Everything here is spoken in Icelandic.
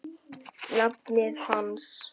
nafni hans.